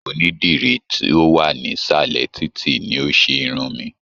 Onídìrí to wa nisalẹ títí ni o se Irun mí.